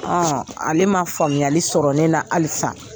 ale ma faamuyali sɔrɔ ne na halisa